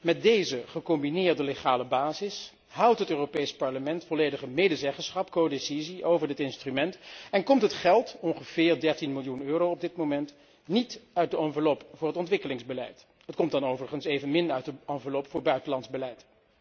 Met deze gecombineerde wettelijke basis houdt het Europees Parlement volledige medezeggenschap over dit instrument en komt het geld, ongeveer 13 miljoen euro op dit moment, niet uit de enveloppe voor het ontwikkelingsbeleid. Het komt dan overigens evenmin uit de enveloppe voor buitenlands beleid.